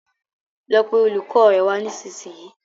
lọ pé olùkó rẹ wá nisisiyi